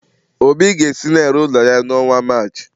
Obi ga-esi na-ere ụlọ ya n'ọnwa Maachị.